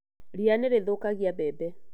Ria nĩ rĩthũkagia mbembe